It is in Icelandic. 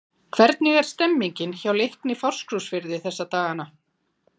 Hvernig er stemningin hjá Leikni Fáskrúðsfirði þessa dagana?